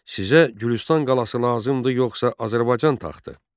Sizə Gülüstan qalası lazımdır yoxsa Azərbaycan taxtı?